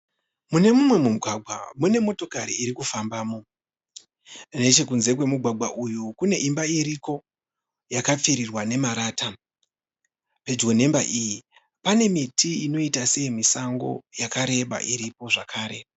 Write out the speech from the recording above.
Mune mumwe mugwagwa mune motokari irikufambamo. Nechekunze kwemugwagwa kune imba iriko yakapfirirwa nemarata. Pedyo neimba iyi pane miti inoita seyemusango yakareba iripo zvakare.